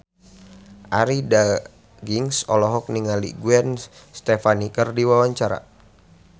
Arie Daginks olohok ningali Gwen Stefani keur diwawancara